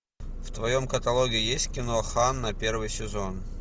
в твоем каталоге есть кино ханна первый сезон